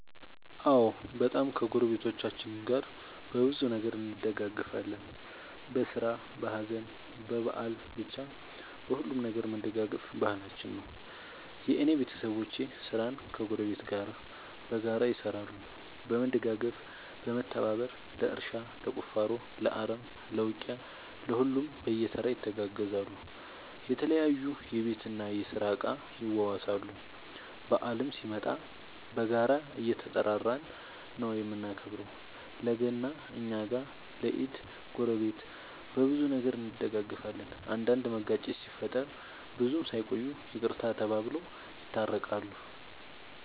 አዎ በጣም ከ ጎረቤቶቻችን ጋር በብዙ ነገር እንደጋገፋለን በስራ በሀዘን በበአል በቻ በሁሉም ነገር መደጋገፍ ባህላችን ነው። የእኔ ቤተሰቦቼ ስራን ከ ጎረቤት ጋር በጋራ ይሰራሉ በመደጋገፍ በመተባበር ለእርሻ ለቁፋሮ ለአረም ለ ውቂያ ለሁሉም በየተራ ይተጋገዛሉ የተለያዩ የቤት እና የስራ እቃ ይዋዋሳሉ። በአልም ሲመጣ በጋራ እየተጠራራን ነው የምናከብረው ለ ገና እኛ ጋ ለ ኢድ ጎረቤት። በብዙ ነገር እንደጋገፋለን። አንዳንድ መጋጨት ሲፈጠር ብዙም ሳይቆዩ ይቅርታ ተባብለው የታረቃሉ።